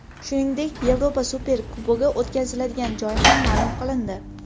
Shuningdek, Yevropa Superkubogi o‘tkaziladigan joy ham ma’lum qilindi.